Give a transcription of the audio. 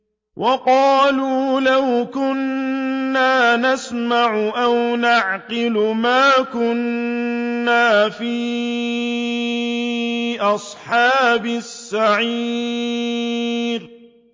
وَقَالُوا لَوْ كُنَّا نَسْمَعُ أَوْ نَعْقِلُ مَا كُنَّا فِي أَصْحَابِ السَّعِيرِ